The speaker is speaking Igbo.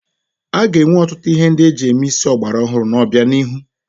A ga-enwe ọtụtụ ihe ndị eji eme isi ọgbara ọhụrụ n'obianihu.